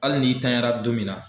Hali n'i tanyara don min na,